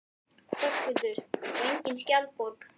Höskuldur: Og engin skjaldborg?